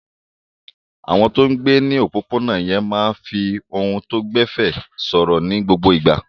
Àwọn tó ń gbé ní òpópónà yẹn máa ń fi ohùn tó gbẹ̀fẹ̀ sọ̀rọ̀ ní gbogbo ìgbà.